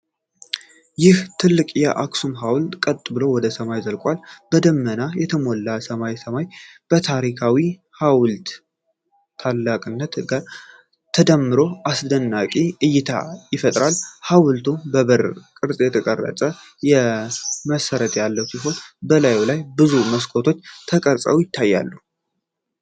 ይህ ትልቅ የአክሱም ሐውልት ቀጥ ብሎ ወደ ሰማይ ዘልቋል። በደመና የተሞላው ሰማያዊ ሰማይ ከታሪካዊው ሐውልት ታላቅነት ጋር ተዳምሮ አስደናቂ እይታን ይፈጥራል! ሐውልቱ በበር ቅርጽ የተቀረጸ መሠረት ያለው ሲሆን፣ በላዩ ላይ ብዙ መስኮቶች ተቀርጸው ይታያሉ።